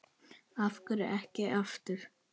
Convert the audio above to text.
Af hverju ekki aftur?